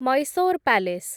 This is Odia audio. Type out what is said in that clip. ମୈସୋର୍ ପାଲେସ୍